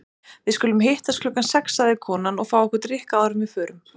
Við skulum hittast klukkan sex, sagði konan, og fá okkur drykk áður en við förum.